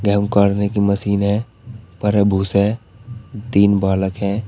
दम काढ़ने की मशीन है भरे भूस है तीन बालक हैं।